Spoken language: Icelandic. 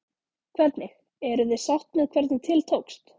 Hvernig, eruð þið sátt með hvernig til tókst?